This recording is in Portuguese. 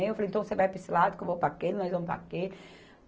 Eu falei, então você vai para esse lado que eu vou para aquele, nós vamos para aquele.